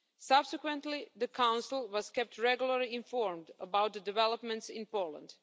Subsequently, the Council was kept regularly informed about the developments in Poland.